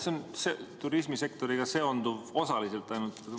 See küsimus seondub turismisektoriga ainult osaliselt.